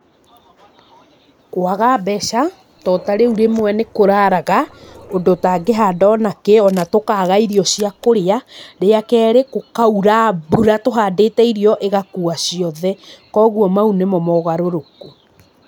Kwaga mbeca, to ta rĩu rĩmwe nĩkũraraga, ũndũ ũtangĩhanda ona kĩ, ona tũkaga irio cia kũrĩa, rĩa kerĩ, gũkaura mbura tũhandĩte irio ĩgakua ciothe, koguo mau nĩmo mogarũrũku.